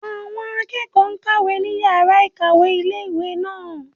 Àwọn akẹ́kọ̀ọ́ n kàwé ní yàrá-ìkàwé ilé-ìwé náà